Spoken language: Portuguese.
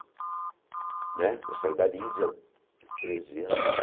Né eu saí da treze anos.